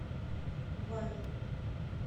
вай